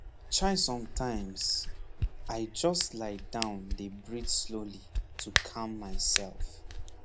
chaisometimes i just lie down dey breathe slowly to calm myself